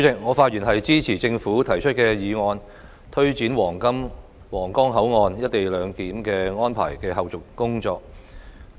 我發言支持政府提出有關推展皇崗口岸「一地兩檢」安排的後續工作的議案。